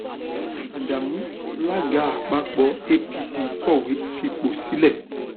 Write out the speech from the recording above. adamu alága àpapọ apc kọwé fipò sílẹ